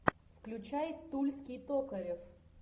включай тульский токарев